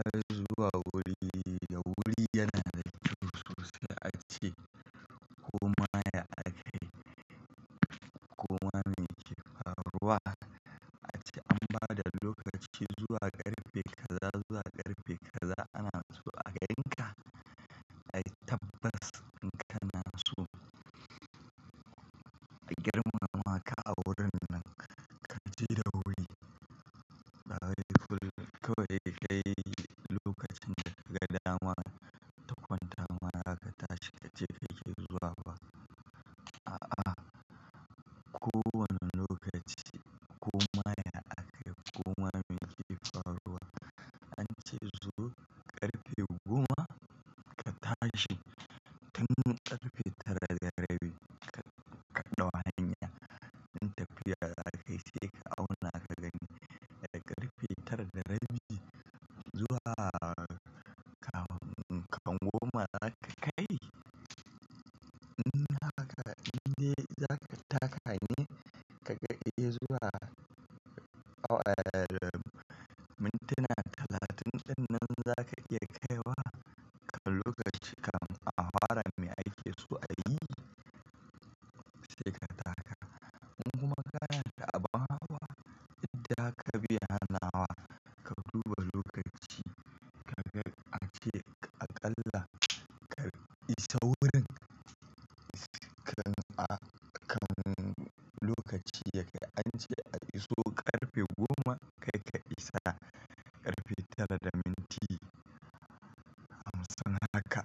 Azu a wuri da wuri yana da kusoshi ace koma ya a kai koma mai kefaruwa ace an ba da lokaci zuwa ƙarfe kaza zuwa ƙarfe kaza ana zuwa a gan ka dai tabbas in kana so a girmama ka a wurin nan ka je da wuri. Bawai kullum kawai ka yi lokacin da ka dama ta kwanta ma zaka tashi ka je ka yi zuwa ba. A'a, kowane lokaci koma ya a kai koma mai kefaruwa an ce zuwa ƙarfe goma ka tashi tun ƙarfe tara da rabi kaɗau hanya. In tafiya za ka yi sai ka auna ka gani daga ƙarfe tara da rabi zuwa ka ka goma za ka kai? In haka indai za ka taka ne ka ga ke zuwa awalu mintuna talatin dinnan za ka iya kaiwa kafin lokaci ka ma afara mai ake so a yi sai ka taka. In kuma kana da abun hawa idan ka biya nawa ka duba lokaci ka ga an ce aƙalla ka isa wurin kan a kan lokaci yake an ce a iso ƙarfe goma kai ka isa ƙarfe tara da minti a matsan haka.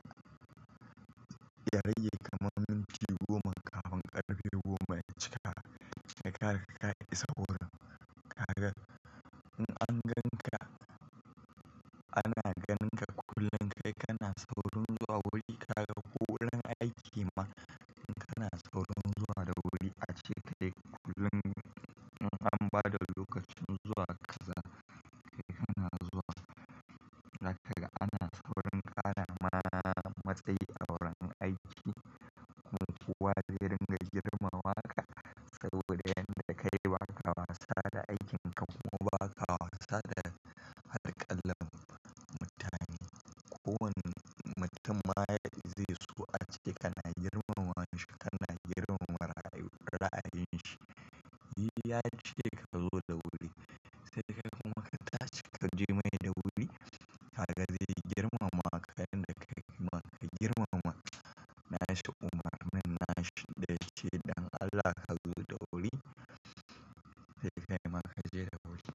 Ya rage ka man minti goma kafin ƙarfe goma ya cika sai ka kai ka isa wurin. Ka ga in an gan ka ana gan ka kullum kai kana saurin zuwa wuri ka ga ko wurin aiki ma in kana saurin zuwa da wuri ace kai kullum in an ba da lokacin zuwa kaza kai kana zuwa. Za kaga ana saurin ƙara marara matsayi a wurin aiki. In kuwa zai ringa girmama ka saboda yanda kai ba ka wasa da aikinka kuma ba ka wasa da alƙalar mutane. Ko wani mutum ma ya zai so ace kana girmama shi kana girmama rayuwar ra'ayin shi. Yi ya ce ka zo da wuri sai kai kuma ka tashi ka je mai da wuri kaga zai girmama ka yanda ka girmama. Na ce Umar manna na ce da shi Dan Allah ka zo da wuri sai kai ma ka je da wuri.